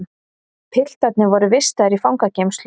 Piltarnir voru vistaðir í fangageymslu